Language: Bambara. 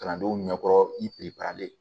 Kalandenw ɲɛkɔrɔ i pere perelen